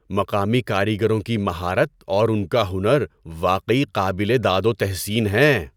مقامی کاریگروں کی مہارت اور ان کا ہنر واقعی قابل داد و تحسین ہیں۔